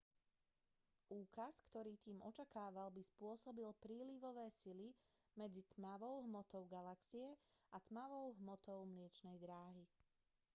úkaz ktorý tím očakával by spôsobili prílivové sily medzi tmavou hmotou galaxie a tmavou hmotou mliečnej dráhy